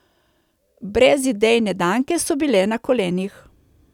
Brezidejne Danke so bile na kolenih.